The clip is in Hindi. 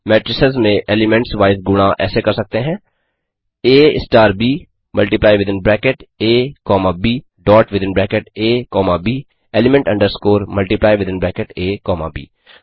मेट्रिसेस में एलीमेंट्स वाइज़ गुणा ऐसे कर सकते हैं आ ब मल्टीप्लाई विथिन ब्रैकेट आ कॉमा ब डॉट विथिन ब्रैकेट आ कॉमा ब element underscore multiply within bracket आ कॉमा ब 2